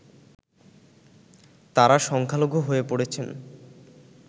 তারা সংখ্যালঘু হয়ে পড়েছেন